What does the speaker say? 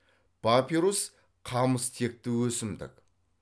папирус қамыс текті өсімдік